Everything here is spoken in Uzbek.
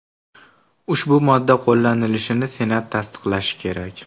Ushbu modda qo‘llanilishini senat tasdiqlashi kerak.